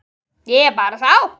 Ég bara sá.